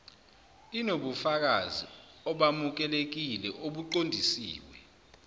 inobufakazi obamukelekile obuqondiswe